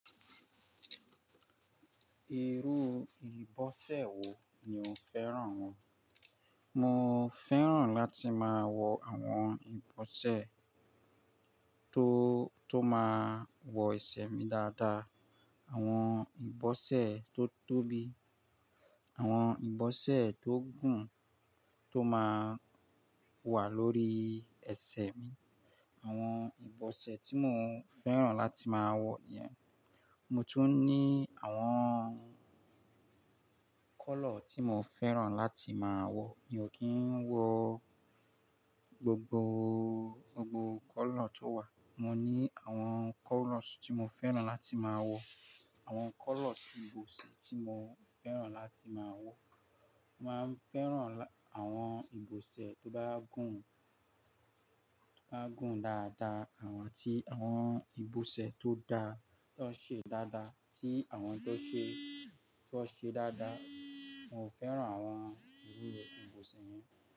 Irú ìbọ̀sẹ̀ wo ni o fẹ́ràn wọ̀? Mo fẹ́ràn láti máa wọ àwọn ìbọ̀sẹ̀ tó, tó máa wọ ẹsẹ̀ mi dáadáa. Àwọn ìbọ̀sẹ̀ tó tóbi, àwọn ìbọ̀sẹ̀ tó gùn tó máa wà lórí ẹsẹ̀ mi. Àwọn ìbọ̀sẹ̀ tí mo fẹ́ràn láti máa wọ̀ niyẹn, mo tún ní àwọn color tí mo fẹ́ràn láti máa wọ̀. Mi ò kí ń wọ gbogbo, gbogbo color tó wà. Mo ní àwọn colors tí mo fẹ́ràn láti máa wọ̀, àwọn colors ìbọ̀sẹ̀ tí mo fẹ́ràn láti máa wọ̀. N Máa ń fẹ́ràn àwọn ìbọ̀sẹ̀ tó bá gùn, to bá gùn dáadáa àti àwọn ìbọ̀sẹ̀ tó dá, tan ṣe dáadáa tí àwọn tó ṣe, tan ṣe dáadáa. Mo fẹ́ràn àwọn irú ìbọ̀sẹ̀ yẹn.